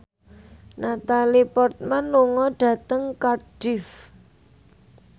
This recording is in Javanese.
Natalie Portman lunga dhateng Cardiff